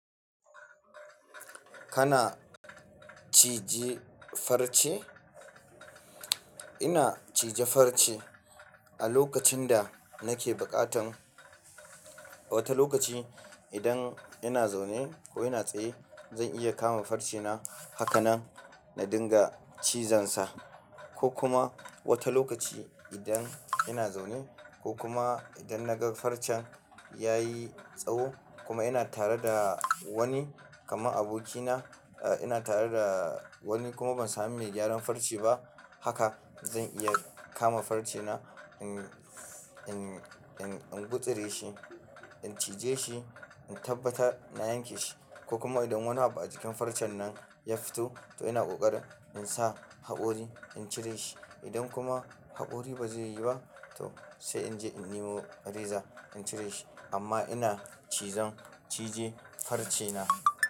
Kana cije farce? Ina cije farce a lokacin da nake buƙatan. Wata lokaci idan ina zaune ko ina tsaye, zan iya kama farce na haka nan na dinga cizon sa. Ko kuma wata lokaci idan ina zaune ko kuma idan na ga farcen ya yi tsawo kuma ina tare da wani kamar abokina, eh ina tare da wani kuma ban sami mai gyaran farce ba, haka zan iya kama farcena. In, in, in, in gutsire shi, in cije shi, in tabbatar na yanke shi. Ko kuma idan wani abu a jikin farcen nan ya fito, to ina ƙoƙari in sa haƙori in cire shi. Idan kuma haƙori ba zai yi ba, to sai in je in nemo reza in cire shi. Amma ina cizon cije farcena.